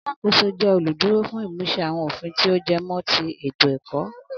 Alákóso jẹ olú dúró fún imusẹ awọn ofin to jẹmọ́ ti ètò ẹkọ